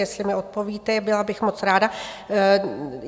Jestli mi odpovíte, byla bych moc ráda.